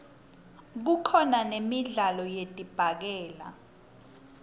kukhona nemidlalo yedibhakela